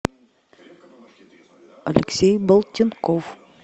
алексей болтинков